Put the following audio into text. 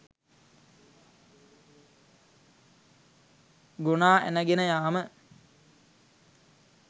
ගොනා ඇන ගෙන යාම.